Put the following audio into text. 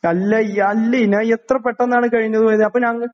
അല്ലയ് അല്ലയിന് എത്ര പെട്ടെന്നാണ് കഴിഞ്ഞത് പോയത് അപ്പൊ ഞങ്ങ